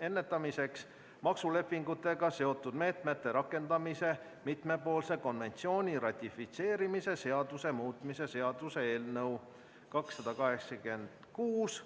ennetamiseks maksulepingutega seotud meetmete rakendamise mitmepoolse konventsiooni ratifitseerimise seaduse muutmise seaduse eelnõu 286.